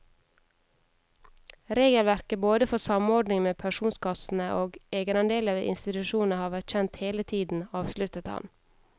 Regelverket både for samordning med pensjonskassene og egenandeler ved institusjoner har vært kjent hele tiden, avsluttet han.